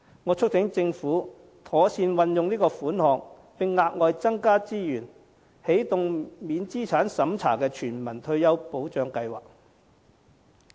我促請政府妥善運用款項，並額外增加資源，起動免資產審查的全民退休保障計劃。